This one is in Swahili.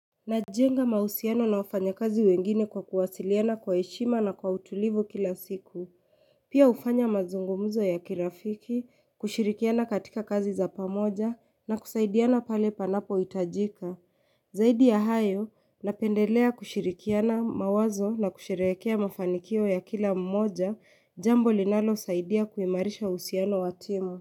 Najenga mahusiano na wafanyakazi wengine kwa kuwasiliana kwa heshima na kwa utulivu kila siku. Pia hufanya mazungumuzo ya kirafiki, kushirikiana katika kazi za pamoja na kusaidiana pale panapohitajika. Zaidi ya hayo, napendelea kushirikiana mawazo na kushirehekea mafanikio ya kila mmoja jambo linalosaidia kuimarisha uhusiano wa timu.